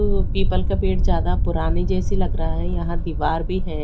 People का पेड़ ज्यादा पुरानी जैसी लग रहा है यहां दीवार भी है।